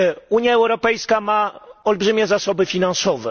Unia Europejska ma olbrzymie zasoby finansowe.